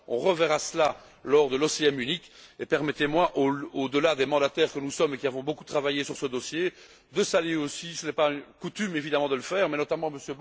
On reverra cela lors de l'OCM unique. Permettez moi, au delà des mandataires que nous sommes, qui avons beaucoup travaillé sur ce dossier, de saluer aussi ce n'est pas coutume évidemment de le faire